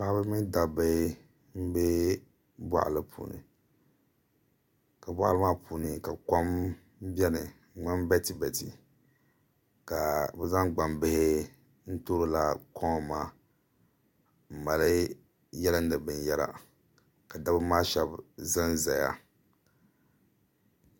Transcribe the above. Paɣaba mini dabba n bɛ boɣali puuni ka boɣali maa puuni ka kom biɛni n ŋmani bɛtibɛti ka bi zaŋ gbambihi n toori laa kom maa n mali yilindi binyɛra ka dabba maa shab ʒɛnʒɛya